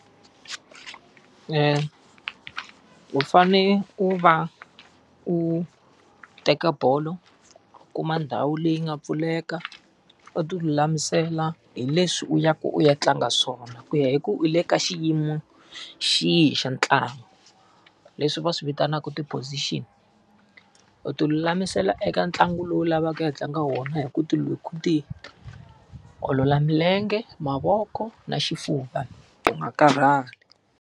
U fanele u va u teka bolo, u kuma ndhawu leyi nga pfuleka, u ti lulamisela hi leswi u ya ku u ya tlanga swona, ku ya hi ku u le ka xiyimo xi yihi xa ntlangu leswi va swi vitanaka ti-position. U ti lulamisela eka ntlangu lowu lavaka ku ya tlanga wona hi ku ti hi ku ti olola milenge, mavoko, na xifuva, u nga karhali.